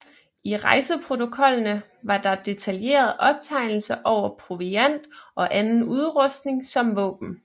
I rejseprotokollene er der detaljerede optegnelser over proviant og anden udrustning som våben